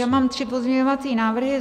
Já mám tři pozměňovací návrhy.